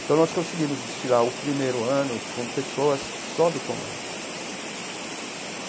Então, nós conseguimos desfilar o primeiro ano com pessoas só do Tom Maior.